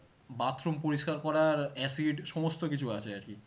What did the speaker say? Bathroom পরিষ্কার করার acid সমস্ত কিছু আছে আর কি